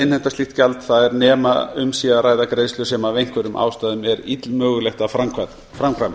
innheimta slíkt gjald það er nema um sé að ræða greiðslur sem af einhverjum ástæðum er illmögulegt að framkvæma